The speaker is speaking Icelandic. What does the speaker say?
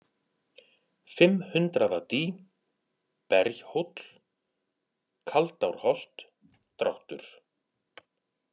Fimmhundraðadý, Berjhóll, Kaldárholt, Dráttur